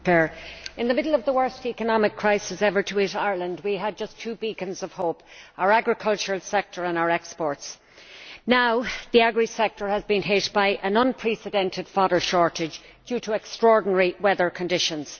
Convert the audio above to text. Madam President, in the middle of the worst economic crises ever to hit Ireland, we had just two beacons of hope our agricultural sector and our exports. Now the agri sector has been hit by an unprecedented fodder shortage due to extraordinary weather conditions.